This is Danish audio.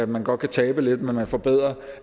man godt kan tabe lidt men at man forbedrer